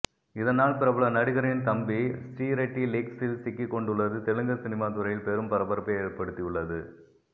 இதனால் பிரபல நடிகரின் தம்பி ஸ்ரீரெட்டி லீக்ஸில் சிக்கிக் கொண்டுள்ளது தெலுங்கு சினிமா துறையில் பெரும் பரபரப்பை ஏற்படுத்தியுள்ளது